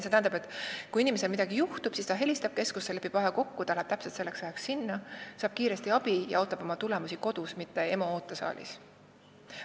See tähendab, et kui inimesel midagi juhtub, siis ta helistab keskusesse, lepib aja kokku ja läheb täpselt selleks ajaks sinna, saab kiiresti abi ja ootab oma tulemusi kodus, mitte EMO ootesaalis.